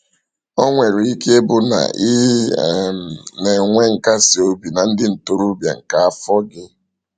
O nwere ike ịbụ na ị um na-enwe nkasi obi na ndị ntorobịa nke afọ gị.